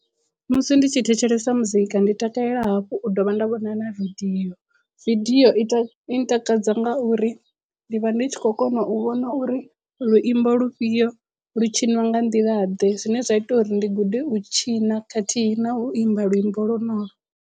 Musi ndi tshi thetshelesa muzika ndi takalela hafhu u dovha nda vhona na video, video ita i ntakadza ngauri ndi vha ndi tshi khou kona u vhona uri luimbo lufhio lu tshiniwa nga nḓila ḓe zwine zwa ita uri ndi gude u tshina khathihi na u imba luimbo lwo nolo.